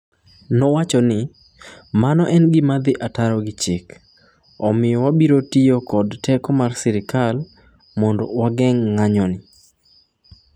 "Mano en gima dhi ataro gi chik, omiyo wabiro tiyo kod teko mar sirkal mondo wageng' ng'anjoni", nowacho ni.